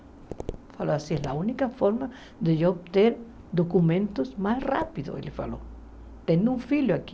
Ele falou, assim, é a única forma de eu obter documentos mais rápido, ele falou, tendo um filho aqui.